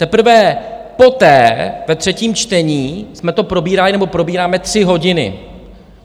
Teprve poté, ve třetím čtení, jsme to probírali, nebo probíráme, tři hodiny.